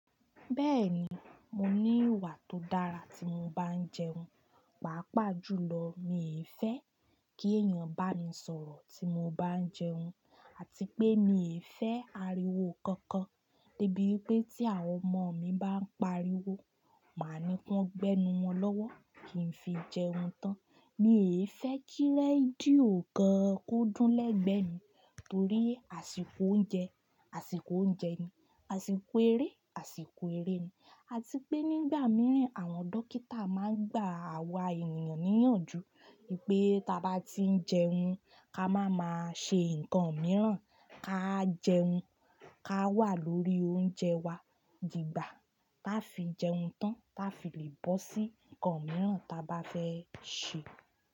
Bẹ́ẹ̀ni, mo ní ìwà tó dára tí mo bá ń jẹun, pàápàá jùlọ mi fẹ́ kí èèyàn bá mi sọ̀rọ̀ tí mo bá ń jẹun àti pé mi e fẹ́ ariwo kankan. Dẹ́ bí pé tí àwọn ọmọ mi bá ń pariwo, màá ní kí wọ́n gbẹ́nu wọn lọ́wọ́ kí n fi jẹun tán. Mi ò fẹ́ kí rédíò gan kódún lẹ́gbẹ̀ẹ́ mi torí àsìkò oúnjẹ, àsìkò oúnjẹ ni, àsìkò eré, àsìkò eré ni àti pé nígbà mìíràn àwọn dókítà máa ń gba àwa ènìyàn níyànjú pé tí a bá tí ń jẹun ká máa ma ṣe nǹkan mìíràn, ká jẹun, ká wà lórí oúnjẹ wa dìgbà tá fi jẹun tán tá fi lè bọ́ sí nǹkan mìíràn ta bá fẹ́ ṣe.